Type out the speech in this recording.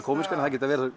kómíska en þær geta